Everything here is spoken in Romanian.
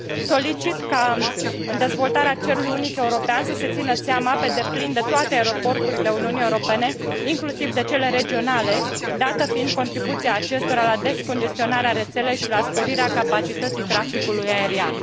Solicit ca în dezvoltarea cerului unic european să se țină seama pe deplin de toate aeroporturile Uniunii Europene, inclusiv de cele regionale, dată fiind contribuția acestora la descongestionarea rețelei și la sporirea capacității traficului aerian.